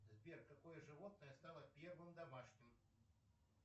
сбер какое животное стало первым домашним